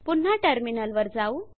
पुन्हा टर्मिनल वर जाऊ